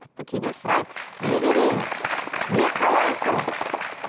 тіпті кейде сұрайды не берейін не қалайсың